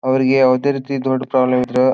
ಅವ್ರಿಗೆ ಯಾವುದೇ ರೀತಿ ದುಡ್ಡು ಪ್ರಾಬ್ಲಮ್ ಇಲ್ಲ --